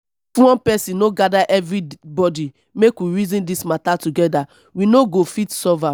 if one person no gather everybody make we reason dis matter together we no go fit solve am